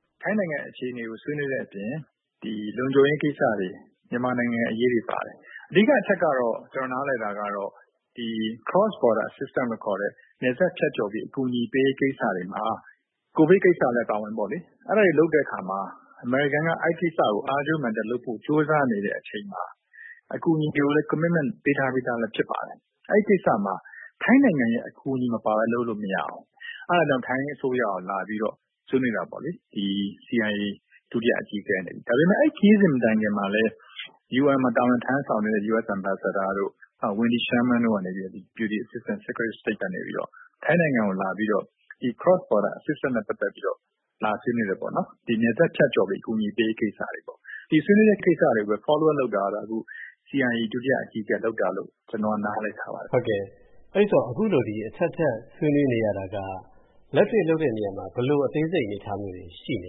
“ထိုင်းနိုင်ငံအခြေအနေကို ဆွေးနွေးတဲ့အပြင် လုံခြုံရေးကိစ္စတွေ၊ မြန်မာနိုင်ငံအရေးတွေ ပါတယ်။ အဓိကအချက်ကတော့ ကျနော်နားလည်တာကတော့ Cross-border Assistance လို့ခေါ်တဲ့ နယ်စပ်ဖြတ်ကျော်ပြီး အကူအညီပေးရေး ကိစ္စတွေမှာ ကိုဗစ်ကိစ္စလည်း အပါအဝင်ပေါ့လေ၊ အဲဒါတွေလုပ်တဲ့အခါမှာ အမေရိကန်က အဲဒီကိစ္စကို အားကြိုးမာန်တက်လုပ်ဖို့ ကြိုးစားနေတဲ့အချိန်မှာ အကူအညီတွေကိုလည်း Commitment ပေးထားပြီးသား ဖြစ်ပါတယ်၊ အဲဒီကိစ္စမှာ ထိုင်းနိုင်ငံရဲ့ အကူအညီမပါဘဲ လုပ်လို့မရဘူး။ အဲဒါကြောင့် ထိုင်းအစိုးရကို လာပြီးတော့ ဆွေးနွေးတာပေါ့လေ၊ CIA ဒုတိယအကြီးအကဲအနေနဲ့။ ဒါပေမယ့် အဲဒီခရီးစဉ် မတိုင်ခင်မှာလည်း UN မှာ တာဝန်ထမ်းဆောင်နေတဲ့ US Ambassador တို့၊ နောက် Wendy Sherman, Deputy Secretary of State တို့ကနေပြီးတော့ ထိုင်းနိုင်ငံကို လာပြီးတော့ Cross-border Assistance နဲ့ပတ်သက်ပြီးတော့ လာဆွေးနွေးတယ်။ နယ်စပ်ဖြတ်ကျော်ပြီး အကူအညီပေးရေး ကိစ္စတွေပေါ့။ ဒီဆွေးနွေးတဲ့ကိစ္စတွေကိုပဲ Follow up လုပ်တာကတော့ အခု CIA ဒုတိယအကြီးအကဲက လုပ်တာလို့ ကျနော် နားလည်ထားပါတယ်။” အဲဒီတော့ အခုလို အထပ်ထပ် ဆွေးနွေးနေရတာက လက်တွေ့လုပ်တဲ့ နေရာမှာ ဘယ်လို အသေးစိတ် အနေအထားမျိုးတွေ ရှိနေ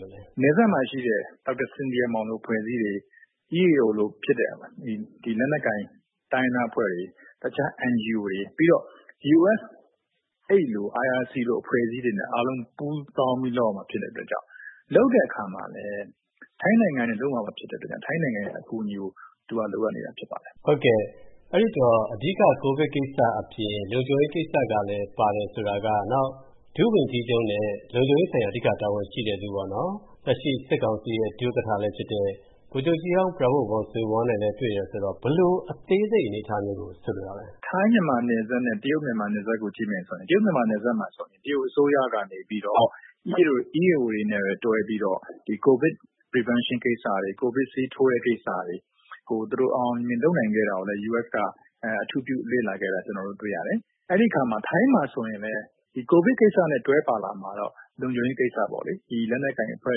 လို့လဲ။ “နယ်စပ်မှာရှိတဲ့ ဒေါက်တာစင်သီယာမောင်လို အဖွဲ့အစည်းတွေ၊ EAO လိုဖြစ်တဲ့ လက်နက်ကိုင် တိုင်းရင်းသားအဖွဲ့တွေ၊ တခြား NGO တွေ၊ ပြီးတော့ US Aid လို့ IRC လို အဖွဲ့အစည်းတွေနဲ့ အားလုံးပူးပေါင်းပြီး လုပ်ရမှာ ဖြစ်တဲ့အတွက်ကြောင့်၊ လုပ်တဲ့အခါမှာလည်း ထိုင်းနိုင်ငံကနေ လုပ်ရမှာ ဖြစ်တဲ့အတွက်ကြောင့် ထိုင်းနိုင်ငံရဲ့ အကူအညီကို လိုအပ်နေတာ ဖြစ်ပါတယ်။” အဲဒီတော့ အဓိက ကိုဗစ်ကိစ္စအပြင် လုံခြုံရေးကိစ္စလည်း ပါတယ်ဆိုတာက၊ နောက် ဒုဝန်ကြီးချုပ်နဲ့ လုံခြုံရေးဆိုင်ရာ အဓိက တာဝန်ရှိတဲ့လူ၊ လက်ရှိ စစ်ကောင်စီရဲ့ ဒုဥက္ကဋ္ဌလည်းဖြစ်တဲ့ ဗိုလ်ချုပ်ကြီးဟောင်း Prawit Wongsuwon နဲ့လည်း တွေ့တယ်ဆိုတော့ ဘယ်လို အသေးစိတ် အနေအထားမျိုးကို ဆိုလိုတာလဲ။ “ထိုင်း-မြန်မာနယ်စပ်နဲ့ တရုတ်-မြန်မာနယ်စပ်ကို ကြည့်မယ်ဆိုရင် တရုတ်-မြန်မာနယ်စပ်မှာ တရုတ်အစိုးရကနေပြီးတော့ EAO တွေနဲ့ပဲ တွဲပြီးတော့ ကိုဗစ် Prevention ကိစ္စတွေ၊ ကိုဗစ်ဆေးထိုးတဲ့ ကိစ္စတွေကို သူတို့ အောင်အောင်မြင်မြင် လုပ်နိုင်ခဲ့တာကိုလည်း US က အထူးပြု လေ့လာခဲ့တာ ကျနော်တို့ တွေ့ရတယ်။ အဲဒီအခါမှာ ထိုင်းမှာဆိုရင်လည်း ကိုဗစ်ကိစ္စနဲ့ တွဲပါလာမှာတော့ လုံခြုံရေးကိစ္စပေါ့လေ။ လက်နက်ကိုင် အဖွဲ့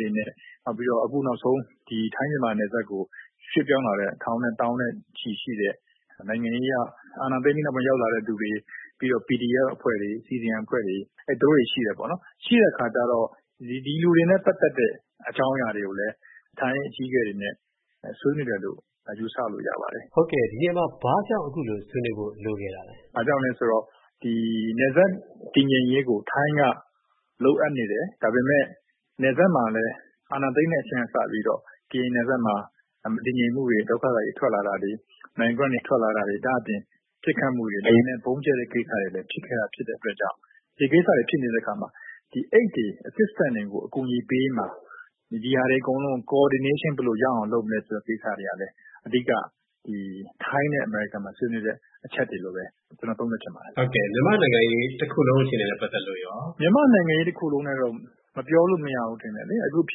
တွေနဲ့၊ အခုနောက်ဆုံး ထိုင်း-မြန်မာနယ်စပ်ကို ရွှေ့ပြောင်းလာတဲ့ ထောင်နဲ့သောင်းနဲ့ချီရှိတဲ့ နိုင်ငံရေးအရ အာဏာသိမ်းပြီးနောက်ပိုင်း ရောက်လာတဲ့သူတွေ၊ ပြီးတော့ PDF အဖွဲ့တွေ၊ CDM အဖွဲ့တွေ၊ သူတို့တွေရှိတယ်။ ရှိတဲ့အခါကြတော့ ဒီလူတွေနဲ့ ပတ်သက်တဲ့ အကြောင်းအရာတွေကိုလည်း ထိုင်းအကြီးအကဲတွေနဲ့ ဆွေးနွေးတယ်လို့ ယူဆလို့ရပါတယ်။” ဒီနေရာမှာ ဘာကြောင့် အခုလိုဆွေးနွေးဖို့ လိုခဲ့တာလဲ။ “ဘာကြောင့်လဲဆိုတော့ နယ်စပ်တည်ငြိမ်ရေးကို ထိုင်းက လိုအပ်နေတယ်။ ဒါပေမယ့် နယ်စပ်မှာလည်း အာဏာသိမ်းတဲ့ အချိန်ကစပြီး ကရင်နယ်စပ်မှာ မတည်ငြိမ်မှုတွေ၊ ဒုက္ခသည်တွေ ထွက်လာတာတွေ၊ နိုင်ငံတွင်းက ထွက်လာတာတွေ၊ ဒါ့အပြင် ပစ်ခတ်မှုတွေ၊ လေယာဉ်နဲ့ ဗုံးကြဲတဲ့ကိစ္စတွေ ဖြစ်ခဲ့တဲ့အတွက်ကြောင့် ဒီကိစ္စတွေ ဖြစ်နေတဲ့အခါမှာ Aid တွေ၊ Assistance တွေ အကူအညီပေးရေးအတွက်မှာ ဒီဟာတွေအကုန်လုံး Coordination ဘယ်လိုရအောင် လုပ်မလဲ ဆိုတဲ့ကိစ္စတွေကလည်း အဓိက ထိုင်းနဲ့ အမေရိကန် ဆွေးနွေးတဲ့ အချက်တွေလို့ပဲ ကျနော် သုံးသပ်ချင်ပါတယ်။” မြန်မာ့နိုင်ငံရေး တခုလုံး အခြေအနေနဲ့ ပတ်သက်လို့ရော။ “မြန်မာ့နိုင်ငံရေး တခုလုံးနဲ့တော့ ပြောလို့မရဘူး ထင်တယ်လေ။ အခုဖြ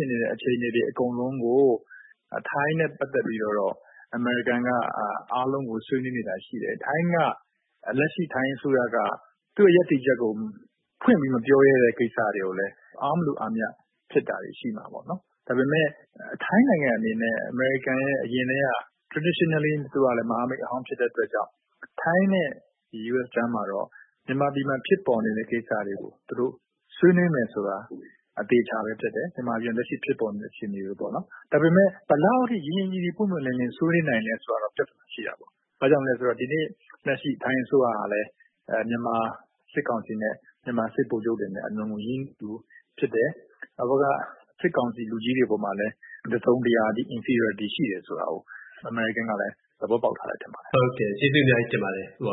စ်နေတဲ့ အခြေအနေတွေ အကုန်လုံးကို ထိုင်းနဲ့ပတ်သက်ပြီးတော့တော့ အမေရိကန်က အားလုံးကို ဆွေးနွေးနေတာ ရှိတယ်။ လက်ရှိ ထိုင်းအစိုးရက သူ့ရဲ့ ရပ်တည်ချက်ကို ဖွင့်ပြီးမပြောရဲတဲ့ ကိစ္စတွေကိုလည်း အားမလို အားမရ ဖြစ်တာတွေ ရှိမှာပေါ့။ ဒါပေမယ့် ထိုင်းနိုင်ငံအနေနဲ့ အမေရိကန်ရဲ့ အရင်ကတည်းက Traditionally မဟာမိတ်ဟောင်း ဖြစ်တဲ့အတွက်ကြောင့် ထိုင်းနဲ့ US ကြားမှာတော့ မြန်မာပြည်မှာ ဖြစ်ပေါ်နေတဲ့ ကိစ္စတွေကို သူတို့ ဆွေးနွေးမယ်ဆိုတာ အသေအချာပဲ ဖြစ်တယ်၊ မြန်မာပြည်မှာ လက်ရှိ ဖြစ်ပေါ်နေတဲ့ အခြေအနေတွေပေါ့။ ဒါပေမယ့် ဘယ်လောက်အထိ ရင်းရင်းနှီးနှီး ပွင့်ပွင့်လင်းလင်း ဆွေးနွေးနိုင်လဲ ဆိုတာတော့ ပြဿနာရှိတာပေါ့။ ဘာကြောင့်လဲဆိုတော့ ဒီနေ့ လက်ရှိ ထိုင်းအစိုးရကလည်း မြန်မာစစ်ကောင်စီနဲ့ မြန်မာစစ်ဗိုလ်ချုပ်တွေနဲ့ အလွန်ကို ရင်းနှီးသူ ဖြစ်တယ်။ ဟိုဘက်က စစ်ကောင်စီလူကြီးတွေ အပေါ်မှာလည်း တစုံတရာ Inferiority ရှိတယ်ဆိုတာကို အမေရိကန်ကလည်း သဘောပေါက်ထားတယ် ထင်ပါတယ်။” ဟုတ်ကဲ့၊ ကျေးဇူးအများကြီးတင်ပါတယ် ဦးအော